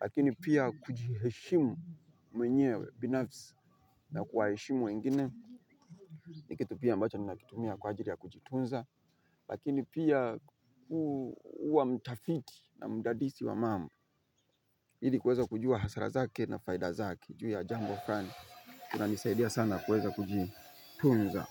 lakini pia kujiheshimu mwenyewe binafsi na kuwaheshimu wengine. Ni kitu pia ambacho ninakitumia kwa ajili ya kujitunza. Lakini pia huwa mtafiti na mdadisi wa mambo ili kuweza kujua hasara zake na faida zake juu ya jambo fulani, kuna nisaidia sana kuweza kujitunza.